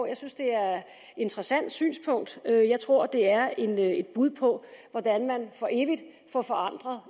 jeg synes det er et interessant synspunkt jeg tror det er et et bud på hvordan man for evigt får forandret